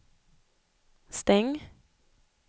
stäng